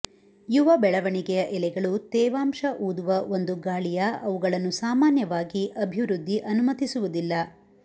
ಯುವ ಬೆಳವಣಿಗೆಯ ಎಲೆಗಳು ತೇವಾಂಶ ಊದುವ ಒಂದು ಗಾಳಿಯ ಅವುಗಳನ್ನು ಸಾಮಾನ್ಯವಾಗಿ ಅಭಿವೃದ್ಧಿ ಅನುಮತಿಸುವುದಿಲ್ಲ